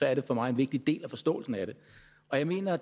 er det for mig en vigtig del af forståelsen af det jeg mener at